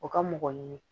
O ka mɔgɔ ɲini